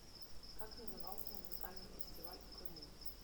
как назывался музыкальный фестиваль в крыму